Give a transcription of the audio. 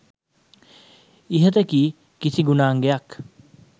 ඉහත කී කිසි ගුණාංගයක්